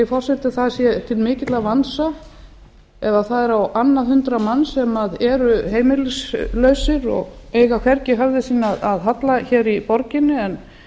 forseti að það sé til mikils vansa ef það er á annað hundrað manns sem eru heimilislausir og eiga hvergi höfði sínu að halla hér í borginni en